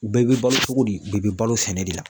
U bɛɛ bɛ balo cogo di , u bɛɛ bɛ balo sɛnɛ de la.